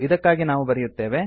ಇದಕ್ಕಾಗಿ ನಾವು ಬರೆಯುತ್ತೇವೆ